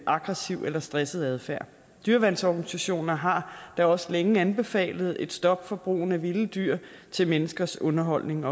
aggressiv eller stresset adfærd dyreværnsorganisationer har da også længe anbefalet et stop for brug af vilde dyr til menneskers underholdning